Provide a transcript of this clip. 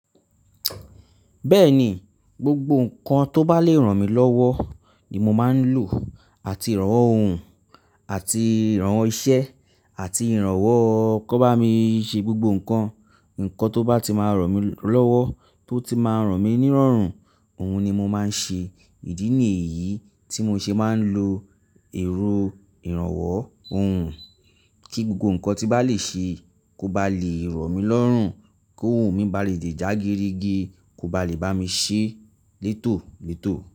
Bẹ́ẹ̀ni, gbogbo nǹkan tó bá lè ràn mí lọ́wọ́ ni mo máa ń lò àti ìrànwọ́ ohun àti ìrànwọ́ iṣẹ́ àti ìrànwọ́ kó bá mi ṣe gbogbo nǹkan, nǹkan tó bá ti máa ràn mí lọ́wọ́, tó ti máa ràn mí ní ọrùn, òun ni mo máa ń ṣe. Ìdí nì eyí tí mo ṣe máa ń lo èrò ìrànwọ́ ohun kí gbogbo nǹkan tí bá le ṣe kó bá lè ràn mí lọ́rùn, kí ohun mi bá lè dè jágerege, kó bá lè bá mi ṣe létòlètò.